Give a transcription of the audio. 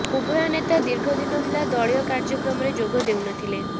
ଉଭୟ ନେତା ଦୀର୍ଘ ଦିନ ହେଲା ଦଳୀୟ କାର୍ଯ୍ୟକ୍ରମରେ ଯୋଗ ଦେଉନଥିଲେ